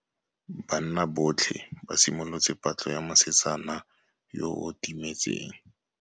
Banna botlhê ba simolotse patlô ya mosetsana yo o timetseng.